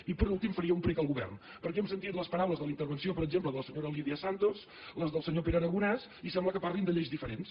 i per últim faria un prec al govern perquè hem sentit les paraules de la intervenció per exemple de la senyora lídia santos les del senyor pere aragonès i sembla que parlin de lleis diferents